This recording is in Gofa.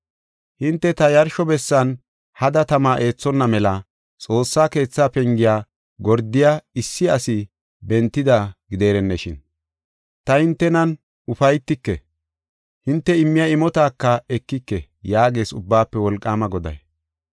“Hinte ta yarsho bessan hada tama eethonna mela xoossa keetha pengiya gordiya issi asi bentida gidereneshin! Ta hintenan ufaytike; hinte immiya imotaka ekike” yaagees Ubbaafe Wolqaama Goday.